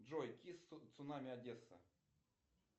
джой кисс цунами одесса